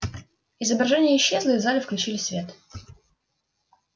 изображение исчезло и в зале включили свет